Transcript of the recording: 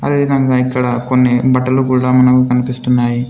అదే విధంగా ఇక్కడ కొన్ని బట్టలు కూడా మనకు కనిపిస్తున్నాయి.